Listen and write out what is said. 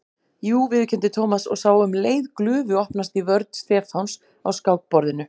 Jú viðurkenndi Thomas og sá um leið glufu opnast í vörn Stefáns á skákborðinu.